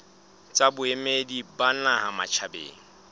tsa boemedi ba naha matjhabeng